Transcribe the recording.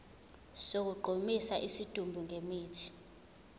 sokugqumisa isidumbu ngemithi